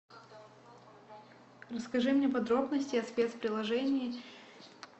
расскажи мне подробности о спец предложении